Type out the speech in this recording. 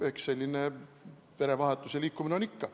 Eks selline verevahetus ja liikumine ole ikka.